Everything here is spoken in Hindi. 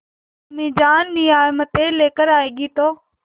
अम्मीजान नियामतें लेकर आएँगी तो